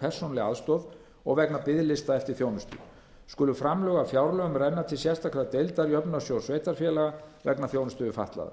persónuleg aðstoð og vegna biðlista eftir þjónustu skulu framlög af fjárlögum renna til sérstakrar deildar jöfnunarsjóðs sveitarfélaga vegna þjónustu við fatlaða